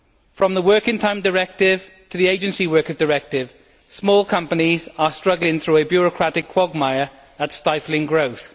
From the working time directive to the agency workers directive, small companies are struggling through a bureaucratic quagmire that is stifling growth.